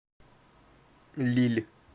лилль